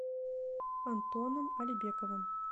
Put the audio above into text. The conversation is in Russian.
антоном алибековым